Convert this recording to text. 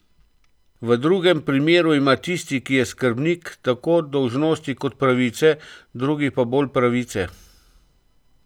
V drugem primeru ima tisti, ki je skrbnik, tako dolžnosti kot pravice, drugi pa bolj pravice.